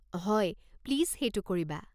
হয়, প্লিজ সেইটো কৰিবা।